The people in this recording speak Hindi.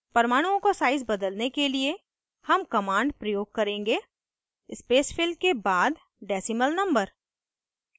परमाणुओं का size बदलने के लिए हम command प्रयोग करेंगे spacefill के बाद decimal number